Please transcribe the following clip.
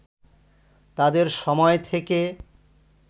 তাদের সময় থেকে